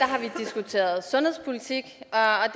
sidder sundhedspolitik